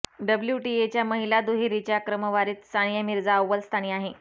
डब्ल्यूटीएच्या महिला दुहेरीच्या क्रमवारीत सानिया मिर्झा अव्वल स्थानी आहे